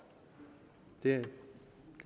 det